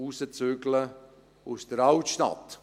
Rauszügeln aus der Altstadt.